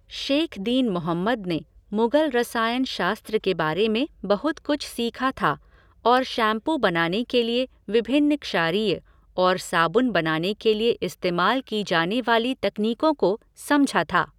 शैख दीन मोहम्मद ने मुगल रसायन शास्त्र के बारे में बहुत कुछ सीखा था और शैम्पू बनाने के लिए विभिन्न क्षारीय और साबुन बनाने के लिए इस्तेमाल की जाने वाली तकनीकों को समझा था।